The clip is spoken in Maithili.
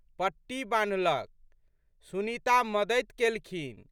पट्टी बान्हलक। सुनीता मदति केलखिन।